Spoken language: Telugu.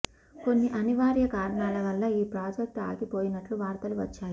కొన్ని అనివార్య కారణాల వలన ఈ ప్రాజెక్ట్ ఆగిపోయినట్లు వార్తలు వచ్చాయి